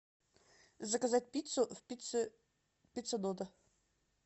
заказать пиццу в пицце дота